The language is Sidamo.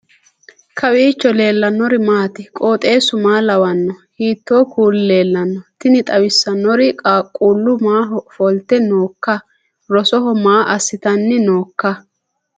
kowiicho leellannori maati ? qooxeessu maa lawaanno ? hiitoo kuuli leellanno ? tini xawissannori qaaqullu maaho ofolte nooikka rosoho maa assitanni nooikka